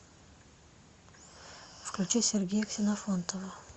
включить сергея ксенофонтова